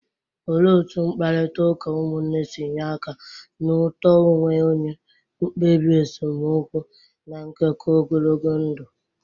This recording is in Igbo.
Olee otú mkparịta ụka ụmụnne si nye aka na uto onwe onye, mkpebi esemokwu, na nkekọ ogologo ndụ?